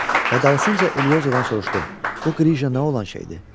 Və dalısınca Eliozodan soruşdu: Bu qrıja nə olan şeydir?